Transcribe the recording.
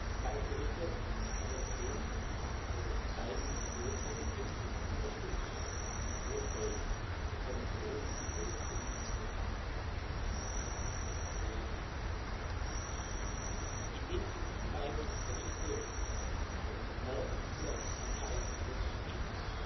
Die beiden Berichte ich habe es erwähnt zeigen hohe Kompetenz und unterstützen die Vorschläge der Kommission im Großen und Ganzen. Indem Sie über diese beiden Berichte morgen hier entscheiden, darüber beschließen,